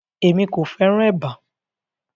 Emi ko fẹràn èbá.